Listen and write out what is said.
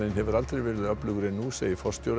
hefur aldrei verið öflugri en nú segir forstjóri